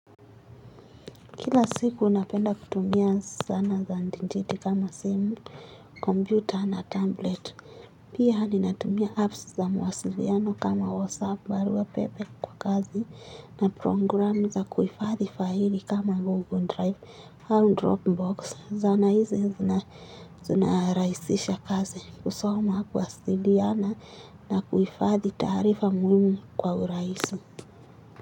Kila siku napenda kutumia zana za intaneti kama simu, kompyuta na tablet. Pia ninatumia apps za mawasiliano kama whatsapp, barua pepe kwa kazi na programu za kuhifadhi faili kama google drive au dropbox. Zana hizi zinarahisisha kazi kusoma kuwasiliana na kuhifadhi taarifa muhimu kwa urahisi.